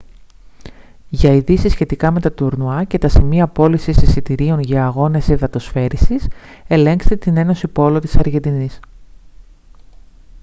για ειδήσεις σχετικά με τα τουρνουά και τα σημεία πώλησης εισιτηρίων για αγώνες υδατοσφαίρισης ελέγξτε την ένωση πόλο της αργεντινής